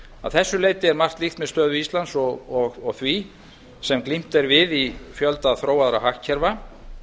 að þessu leyti er margt líkt með stöðu íslands og því sem glímt er við í fjölda þróaðra hagkerfa